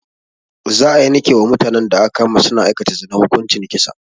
Za a yanke wa mutanen da aka kama su na aikata zina hukuncin kisa